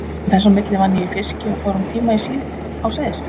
Þess á milli vann ég í fiski og fór um tíma í síld á Seyðisfirði.